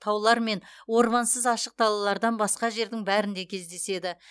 таулар мен ормансыз ашық далалардан басқа жердің бәрінде кездеседі